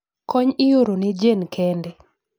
kony ioro ne jane kende